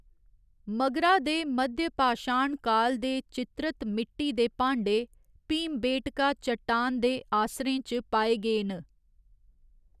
मगरा दे मध्यपाशाण काल ​​दे चित्रत मिट्टी दे भांडे भीमबेटका चट्टान दे आसरें च पाए गे न।